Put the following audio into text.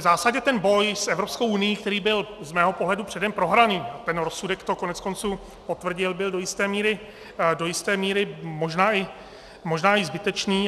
V zásadě ten boj s Evropskou unií, který byl z mého pohledu předem prohraný, ten rozsudek to koneckonců potvrdil, byl do jisté míry možná i zbytečný.